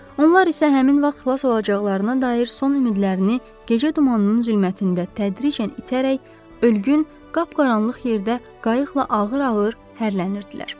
Onlar isə həmin vaxt xilas olacaqlarına dair son ümidlərini gecə dumanının zülmətində tədricən itərək ölgün, qapqaranlıq yerdə qayıqla ağır-ağır hərələnirdilər.